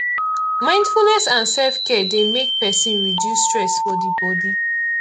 mindfulness and selfcare dey make person reduce stress for di bodi